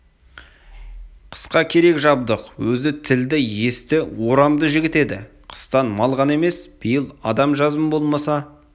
қысқа керек-жабдық өзі тілді есті орамды жігіт еді қыстан мал ғана емес биыл адам жазым болмаса